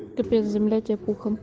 капец земля тебе пухом